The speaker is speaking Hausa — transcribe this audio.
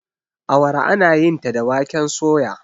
awara ana yinta da waken soya